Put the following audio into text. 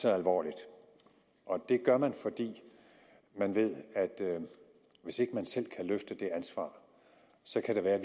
så alvorligt og det gør man fordi man ved at hvis ikke man selv kan løfte det ansvar så kan det være at